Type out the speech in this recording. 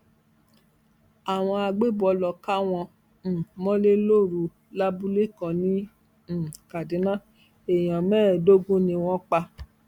àwọn àgbébọ lóò ká wọn um mọlẹ lóru lábúlé kan ní um kaduna èèyàn mẹẹẹdógún ni wọn pa